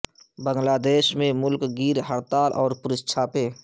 بنگلہ دیش میں ملک گیر ہڑتال اور پولیس چھاپے